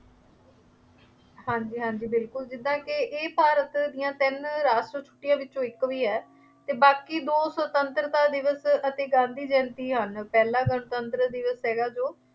ਹਾਂਜੀ ਹਾਂਜੀ ਬਿਲਕੁੱਲ, ਜਿਦਾਂ ਕਿ ਇਹ ਭਾਰਤ ਦੀਆਂ ਤਿੰਨ ਰਾਸ਼ਟਰੀ ਛੁੱਟੀਆਂ ਵਿੱਚੋਂ ਇੱਕ ਵੀ ਹੈ ਅਤੇ ਬਾਕੀ ਦੋ ਸੁਤੰਤਰਤਾ ਦਿਵਸ ਅਤੇ ਗਾਂਧੀ ਜਯੰਤੀ ਹਨ। ਪਹਿਲਾ ਗਣਤੰਤਰ ਦਿਵਸ ਹੈਗਾ ਜੋ